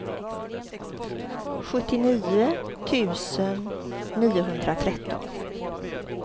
sjuttionio tusen niohundratretton